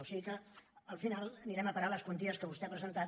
o sigui que al final anirem a parar a les quanties que vostè ha presentat